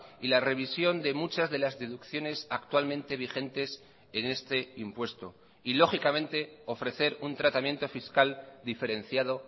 y la revisión de muchas de las deducciones actualmente vigentes en este impuesto y lógicamente ofrecer un tratamiento fiscal diferenciado